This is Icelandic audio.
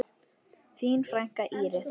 Þín frænka, Íris.